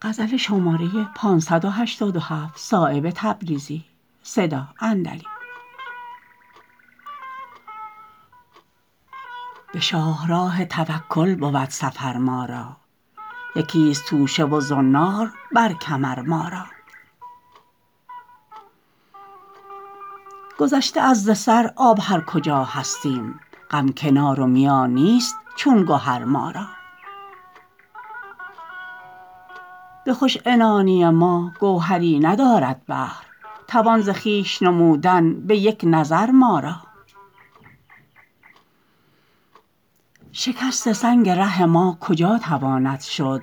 به شاهراه توکل بود سفر ما را یکی است توشه و زنار بر کمر ما را گذشته است ز سر آب هر کجا هستیم غم کنار و میان نیست چون گهر ما را به خوش عنانی ما گوهری ندارد بحر توان ز خویش نمودن به یک نظر ما را شکست سنگ ره ما کجا تواند شد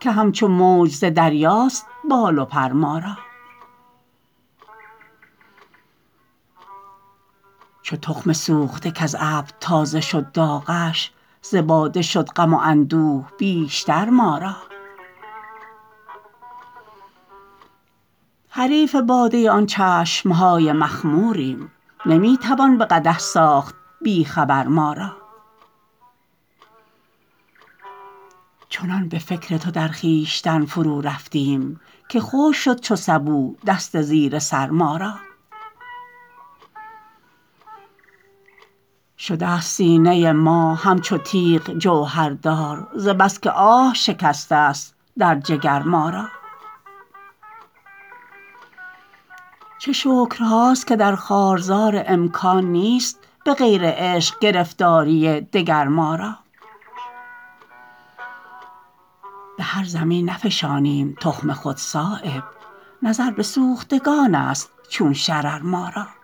که همچو موج ز دریاست بال و پر ما را چو تخم سوخته کز ابر تازه شد داغش ز باده شد غم و اندوه بیشتر ما را حریف باده آن چشم های مخموریم نمی توان به قدح ساخت بی خبر ما را چنان به فکر تو در خویشتن فرو رفتیم که خشک شد چو سبو دست زیر سر ما را شده است سینه ما همچو تیغ جوهردار ز بس که آه شکسته است در جگر ما را چه شکرهاست که در خارزار امکان نیست به غیر عشق گرفتاری دگر ما را به هر زمین نفشانیم تخم خود صایب نظر به سوختگان است چون شرر ما را